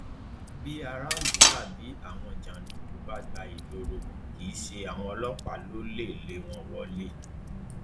bí aráàlú tàbí àwọn jàǹdùkú bá gba ìgboro kì í ṣe àwọn ọlọpàá ló lè lé wọn wọlẹ